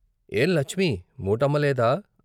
ఏం లచ్మీ మూటమ్మ లేదా?